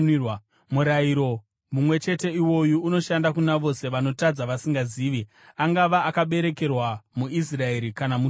Murayiro mumwe chete iwoyu unoshanda kuna vose vanotadza vasingazivi, angava akaberekerwa muIsraeri kana mutorwa.